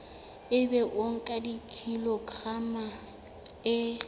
ebe o nka kilograma e